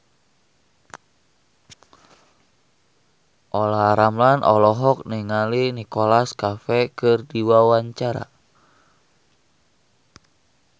Olla Ramlan olohok ningali Nicholas Cafe keur diwawancara